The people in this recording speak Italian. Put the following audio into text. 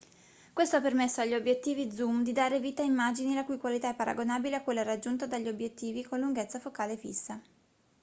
questo ha permesso agli obiettivi zoom di dare vita a immagini la cui qualità è paragonabile a quella raggiunta dagli obiettivi con lunghezza focale fissa